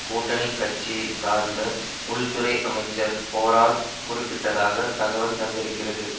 கூட்டணி கட்சியை சார்ந்த உள் துறை அமைச்சர் போராஸ் குறிப்பிட்டதாக தகவல் தந்திருக்கிறது